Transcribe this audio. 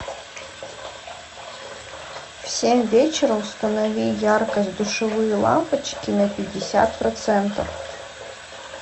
в семь вечера установи яркость душевые лампочки на пятьдесят процентов